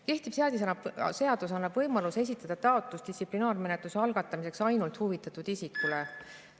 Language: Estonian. Kehtiv seadus annab võimaluse esitada taotlus distsiplinaarmenetluse algatamiseks ainult huvitatud isikule.